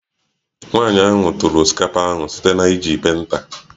Nwanyị ahụ tụrụ osikapa ahụ site na iji penta